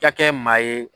Ka kɛ maa ye